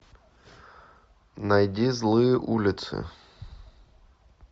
найди злые улицы